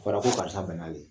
ko karisa bɛnna ye